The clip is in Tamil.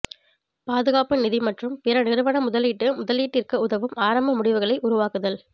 பாதுகாப்பு நிதி மற்றும் பிற நிறுவன முதலீட்டு முதலீட்டிற்கு உதவும் ஆரம்ப முடிவுகளை உருவாக்குதல்